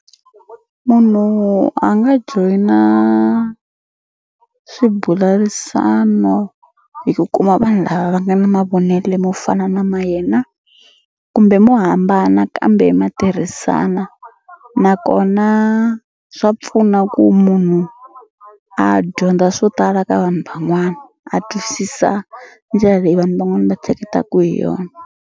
Munhu a nga joyina swibularisano hi ku kuma vanhu lava va nga ni mavonelo mo fana na ma yena kumbe mo hambana kambe ma tirhisana nakona swa pfuna ku munhu a dyondza swo tala ka vanhu van'wana a twisisa ndlela leyi vanhu van'wani va hleketaku hi yona.